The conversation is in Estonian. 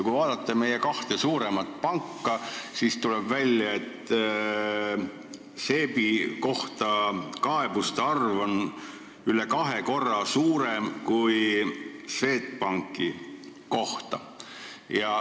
Kui vaadata meie kahte suuremat panka, siis tuleb välja, et SEB-i kohta on kaebuste arv üle kahe korra suurem kui Swedbanki kohta.